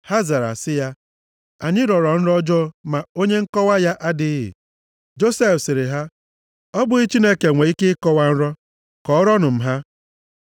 Ha zara sị ya, “Anyị rọrọ nrọ ọjọọ, ma onye nkọwa ya adịghị.” Josef sịrị ha, “Ọ bụghị Chineke nwee ike ịkọwa nrọ? Kọọrọnụ + 40:8 Maọbụ, Unu zere m nrọ unu m ha.”